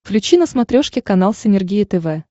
включи на смотрешке канал синергия тв